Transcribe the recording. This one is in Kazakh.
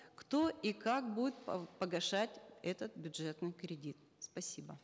кто и как будет погашать этот бюджетный кредит спасибо